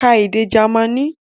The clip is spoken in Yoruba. Ka èdè Jamaní!